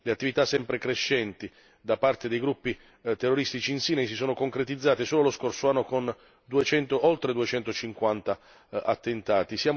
Le attività sempre crescenti da parte dei gruppi terroristici in Sinai si sono concretizzate soltanto lo scorso anno, con oltre 250 attentati.